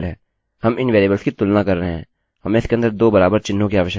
यदि यह शर्त सही हैहम यह सूचना एकोechoकरेंगे